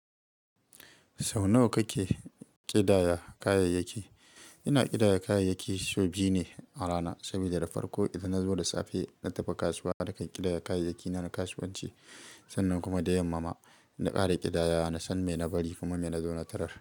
Sau nawa kake ƙidaya kayayyaki? Ina ƙidaya kayayyaki sau biyu ne a rana, saboda da farko idan na zo da safe na tafi kasuwa, nakan ƙidaya kayayyaki na kasuwanci. Sannan kuma da yammama na ƙara ƙidaya, na san mena bari kuma mena zo na tarar.